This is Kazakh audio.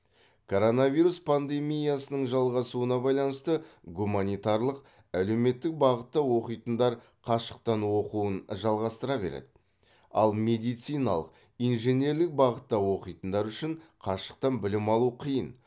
коронавирус пандемиясының жалғасуына байланысты гуманитарлық әлеуметтік бағытта оқитындар қашықтан оқуын жалғастыра береді ал медициналық инженерлік бағытта оқитындар үшін қашықтан білім алу қиын